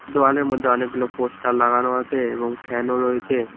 দেওয়ালের মধ্যে অনেকগুলো পোস্টার লাগানো আছে এবং ফ্যানও রয়েছে।